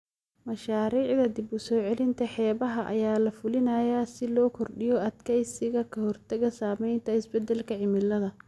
Mashaariicda dib u soo celinta xeebaha ayaa la fulinayaa si loo kordhiyo adkeysiga ka hortagga saameynta isbeddelka cimilada.